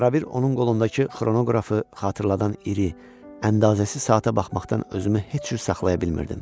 Arabir onun qolundakı xronoqrafı xatırladan iri, əndazəsiz saata baxmaqdan özümü heç cür saxlaya bilmirdim.